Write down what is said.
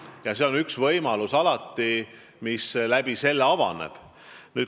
Nii et selle kaudu on alati avatud võimalus kaebusi esitada.